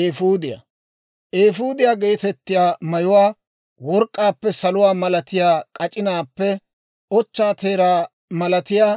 «Eefuudiyaa geetettiyaa mayuwaa work'k'aappe, saluwaa malatiyaa k'ac'inaappe, ochchaa teeraa malatiyaa